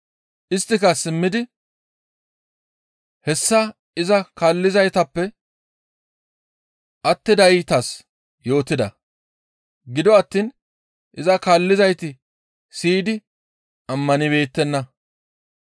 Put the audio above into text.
Isttika simmidi hessa iza kaallizaytappe attidaytas yootida; gido attiin iza kaallizayti siyidi ammanibeettenna.